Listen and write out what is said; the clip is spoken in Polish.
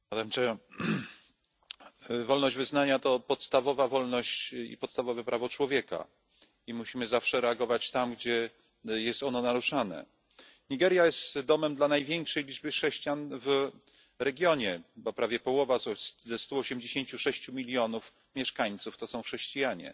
Pani Przewodnicząca! Wolność wyznania to podstawowa wolność i podstawowe prawo człowieka, i musimy zawsze reagować tam, gdzie jest ono naruszane. Nigeria jest domem dla największej liczby chrześcijan w regionie, bo prawie połowa ze 186 milionów mieszkańców to są chrześcijanie.